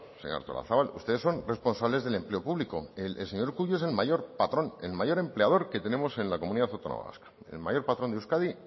señora artolazabal ustedes son responsables del empleo público el señor urkullu es el mayor patrón el mayor empleador que tenemos en la comunidad autónoma vasca el mayor patrón de euskadi